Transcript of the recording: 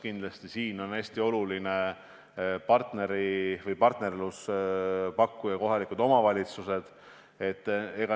Siin on kindlasti hästi olulised partnerid kohalikud omavalitsused.